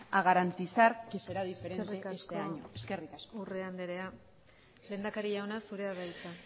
a garantizar que será diferente este año eskerrik asko eskerrik asko urrea andrea lehendakari jauna zurea da hitza